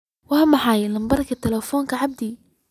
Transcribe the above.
waa maxay lambarka talefonka abdi